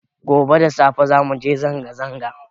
Gobe da safe za muje zanga zanga